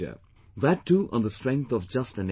That too on the strength of just an SMS